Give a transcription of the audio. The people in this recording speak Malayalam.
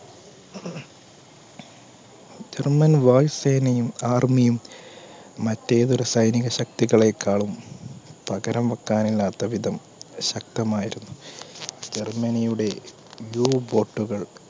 german വായു സേനയും army യും മറ്റ് ഏതൊരു സൈനിക ശക്തികളേക്കാളും പകരം വെക്കാനാവാത്ത വിധം ശക്തമായിരുന്നു. ജർമ്മനിയുടെ u-boat കൾ